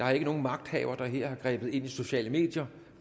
er nogen magthaver der her har grebet ind i sociale medier